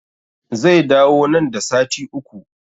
Zai dawo nan da sati Uku